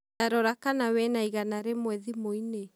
Tarora kana wĩna igana rĩmwe thimũ inĩ?